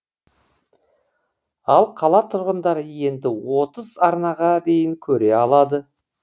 ал қала тұрғындары енді отыз арнаға дейін көре алады